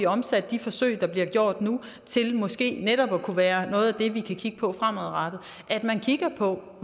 omsat de forsøg der bliver gjort nu til måske netop at kunne være noget af det vi kan kigge på fremadrettet at man kigger på